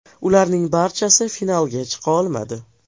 Ularning barchasi finalga chiqa olmadi.